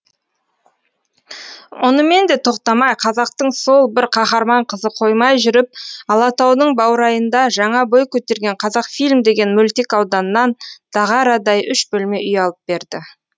онымен де тоқтамай қазақтың сол бір қаһарман қызы қоймай жүріп алатаудың баурайында жаңа бой көтерген қазақфильм деген мөлтек ауданнан дағарадай үш бөлме үй алып берді